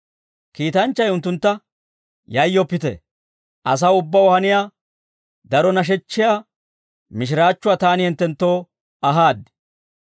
Kiitanchchay unttuntta, «Yayyoppite, asaw ubbaw haniyaa daro nashechchiyaa mishiraachchuwaa taani hinttenttoo ahaad.